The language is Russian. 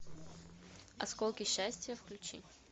осколки счастья включи